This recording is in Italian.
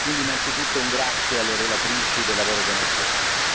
Quindi, innanzitutto, un grazie alle relatrici del lavoro che hanno svolto.